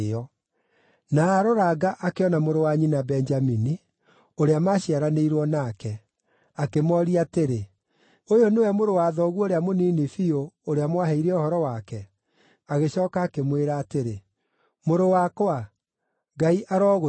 Na aaroranga akĩona mũrũ wa nyina Benjamini, ũrĩa maaciaranĩirwo nake; akĩmooria atĩrĩ, “Ũyũ nĩwe mũrũ wa thoguo ũrĩa mũnini biũ, ũrĩa mwaheire ũhoro wake?” Agĩcooka akĩmwĩra atĩrĩ, “Mũrũ wakwa, Ngai arogũtuga.”